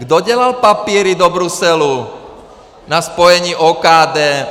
Kdo dělal papíry do Bruselu na spojení OKD?